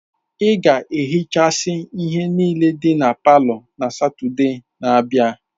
Ị ga-ehichasị ihe niile dị na palọ na Satọde na-abịa!